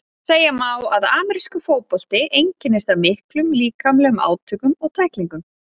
Segja má að amerískur fótbolti einkennist af miklum líkamlegum átökum og tæklingum.